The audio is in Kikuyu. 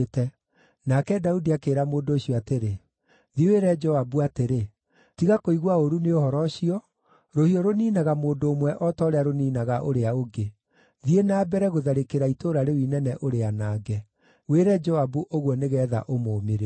Nake Daudi akĩĩra mũndũ ũcio atĩrĩ, “Thiĩ wĩre Joabu atĩrĩ: ‘Tiga kũigua ũũru nĩ ũhoro ũcio; rũhiũ rũniinaga mũndũ ũmwe o ta ũrĩa rũniinaga ũrĩa ũngĩ. Thiĩ na mbere gũtharĩkĩra itũũra rĩu inene ũrĩanange.’ Wĩre Joabu ũguo nĩgeetha ũmũũmĩrĩrie.”